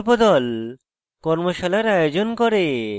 কর্মশালার আয়োজন করে